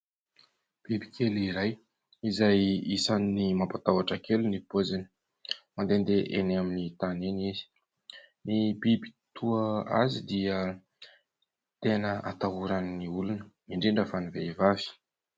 Biby kely iray izay isany ny mampatahotra kely ny poziny. Mandehandeha eny amin'ny tany eny izy. Ny biby toa azy dia tena hatahoran'ny olona indrindra fa ny vehivavy.